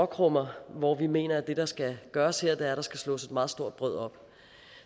krummer hvor vi mener at det der skal gøres her er at der skal slås et meget stort brød op